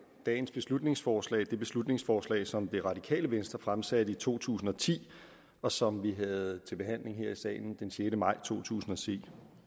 dagens beslutningsforslag det beslutningsforslag som det radikale venstre fremsatte i to tusind og ti og som vi havde til behandling her i salen den sjette maj to tusind og ti